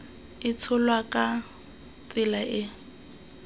e tsholwa ka tsela e